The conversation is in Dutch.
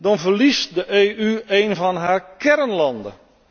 Dan verliest de EU een van haar kernlanden.